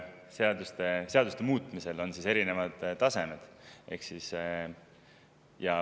Eks seaduste muutmisel on ikka erinevad tasemed.